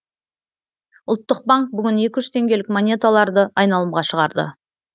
ұлттық банк бүгін екі жүз теңгелік монеталарды айналымға шығарды